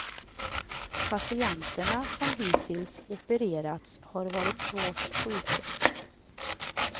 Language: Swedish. Patienterna som hittills opererats har varit svårt sjuka.